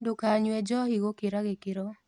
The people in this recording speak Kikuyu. Ndũkanyũe njohĩ gũkĩra gĩkĩro